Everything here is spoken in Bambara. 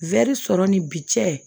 sɔrɔ ni bi cɛ